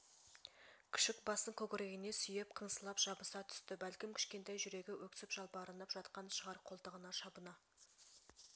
күшік басын көкірегіне сүйеп қыңсылап жабыса түсті бәлкім кішкентай жүрегі өксіп жалбарынып жатқан шығар қолтығына шабына